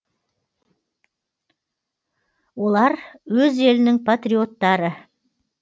олар өз елінің патриоттары